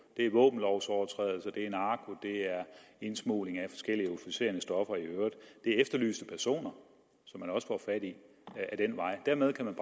det er våbenlovsovertrædelser det er narko det er indsmugling af forskellige euforiserende stoffer i øvrigt det er efterlyste personer som man også får fat i ad den vej og dermed kan man